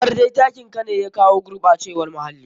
Kamar dai takin ka ne ya jawo gurɓacewar muhalii.